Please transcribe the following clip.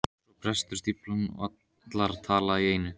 Svo brestur stíflan og allar tala í einu.